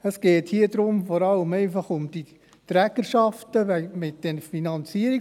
Es geht hier vor allem um die Trägerschaften der Finanzierung.